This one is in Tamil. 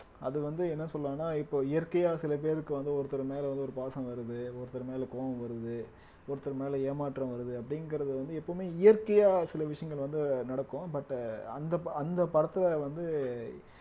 அது வந்து என்ன சொல்லலாம்னா இப்ப இயற்கையா சில பேருக்கு வந்து ஒருத்தர் மேல வந்து ஒரு பாசம் வருது ஒருத்தர் மேல கோபம் வருது ஒருத்தர் மேல ஏமாற்றம் வருது அப்படிங்கறது வந்து எப்பவுமே இயற்கையா சில விஷயங்கள் வந்து நடக்கும் but அந்த ப அந்த படத்துல வந்து